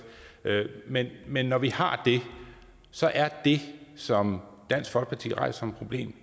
men men når vi har det så er det som dansk folkeparti rejser som problem